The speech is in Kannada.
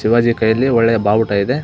ಶಿವಾಜಿ ಕೈಯಲ್ಲಿ ಒಳ್ಳೆ ಬಾವುಟ ಇದೆ.